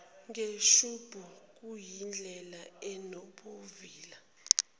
ngeshubhu kuyindlela enobuvila